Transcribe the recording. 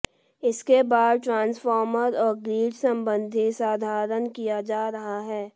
इसके बाद ट्रांसफॉर्मर और ग्रिड संबंधी संधारण किया जा रहा है